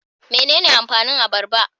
Mene ne amfanin abarba?